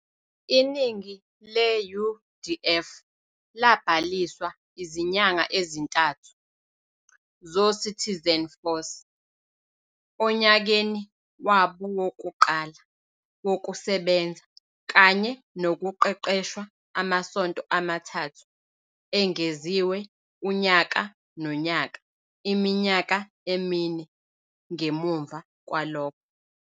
Iningi le-UDF labhaliswa izinyanga ezintathu zoCitizen Force onyakeni wabo wokuqala wokusebenza, kanye nokuqeqeshwa amasonto amathathu engeziwe unyaka nonyaka iminyaka emine ngemuva kwalokho.